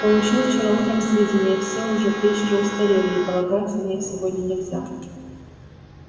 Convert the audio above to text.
получил вчера утром сведения всё уже к вечеру устарели и полагаться на них сегодня нельзя